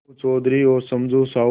अलगू चौधरी और समझू साहु